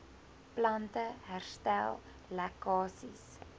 plante herstel lekkasies